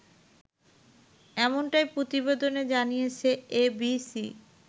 এমনটাই প্রতিবেদনে জানিয়েছে এবিসি